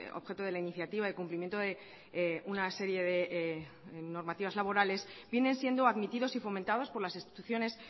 objeto de la iniciativa de cumplimiento de una serie de normativas laborales viene siendo admitidos y fomentados por las instituciones